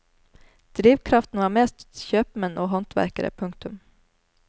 Drivkraften var mest kjøpmenn og håndverkere. punktum